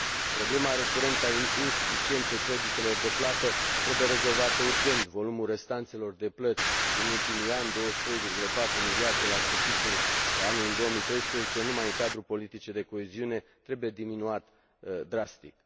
Problema recurentă a insuficienței creditelor de plată trebuie rezolvată urgent, volumul restanțelor de plăți din ultimii ani, 23,4 miliarde la sfârșitul anului 2013 numai în cadrul politicii de coeziune, trebuie diminuat drastic.